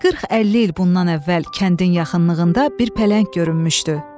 40-50 il bundan əvvəl kəndin yaxınlığında bir pələng görünmüşdü.